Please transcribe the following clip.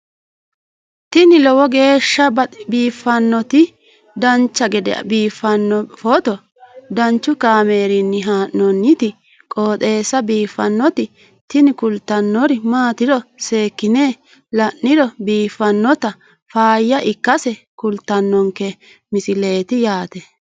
tini lowo geeshsha biiffannoti dancha gede biiffanno footo danchu kaameerinni haa'noonniti qooxeessa biiffannoti tini kultannori maatiro seekkine la'niro biiffannota faayya ikkase kultannoke misileeti yaate